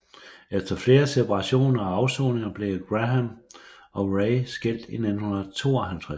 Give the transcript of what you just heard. Efter flere separationer og afsoninger blev Grahame og Ray skilt i 1952